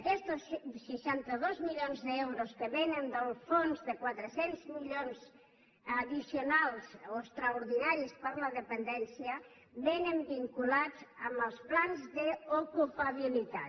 aquests seixanta dos milions d’euros que vénen del fons de quatre cents milions addicionals o extraordinaris per a la dependència vénen vinculats als plans d’ocupabilitat